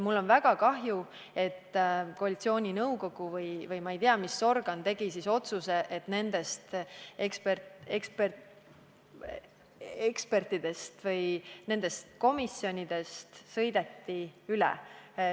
Mul on väga kahju, et koalitsiooninõukogu või ma ei tea, mis organ tegi otsuse, mille tagajärjel nendest ekspertidest ja komisjonidest sõideti lihtsalt üle.